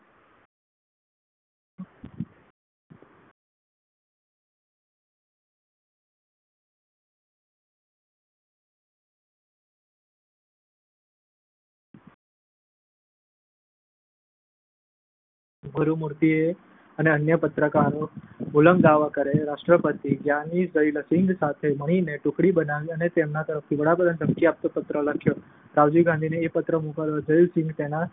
ગુરુમૂર્તિ અને અન્ય પત્રકાર મુલગાંવકરે રાષ્ટ્રપતિ ગ્યાની ઝૈલ સિંઘ સાથે મળીને ટુકડી બનાવી અને તેમના તરફથી વડાપ્રધાનને ધમકી આપતો પત્ર લખ્યો. રાજીવ ગાંધીને પત્ર મોકલતા પહેલા ઝૈલ સિંઘે તેમાં